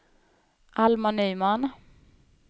Alma Nyman